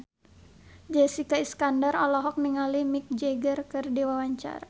Jessica Iskandar olohok ningali Mick Jagger keur diwawancara